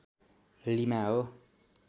lima हो